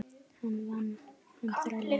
Hann vann, hann þrælaði hjá